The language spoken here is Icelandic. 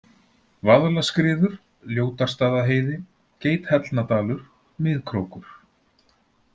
Vaðlaskriður, Ljótarstaðaheiði, Geithellnadalur, Miðkrókur